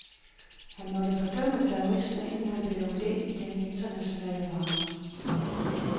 Han måtte fordømme terrorisme, inden han blev lukket ind i den internationale varme.